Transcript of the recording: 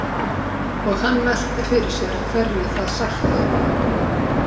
Og hann velti fyrir sér hverju það sætti.